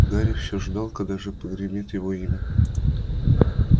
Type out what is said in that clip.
гарри все ждал когда же прогремит его имя